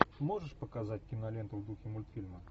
можешь показать киноленту в духе мультфильма